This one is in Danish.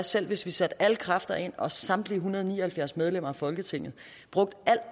selv hvis vi satte alle kræfter ind og samtlige en hundrede og ni og halvfjerds medlemmer af folketinget brugte al